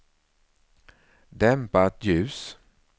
dämpat ljus